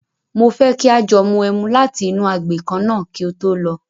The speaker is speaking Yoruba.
Mo fẹ́ kí a jọ mu ẹmu láti inú agbè kan náà kí o tó lọ.